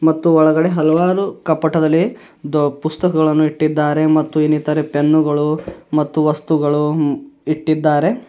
ಮತ್ತು ಒಳಗಡೆ ಹಲವಾರು ಕಪ್ಪಡದಲ್ಲಿ ಪುಸ್ತಕಗಳನ್ನು ಇಟ್ಟಿದ್ದಾರೆ ಮತ್ತು ಇನ್ನಿತರ ಪೆನ್ನು ಗಳು ಮತ್ತು ವಸ್ತುಗಳು ಇಟ್ಟಿದ್ದಾರೆ.